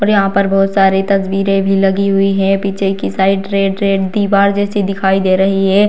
और यहाँ पर बहुत सारी तस्वीरें भी लगी हुई है पीछे की साइड रेड रेड दीवार जैसी दिखाई दे रही है।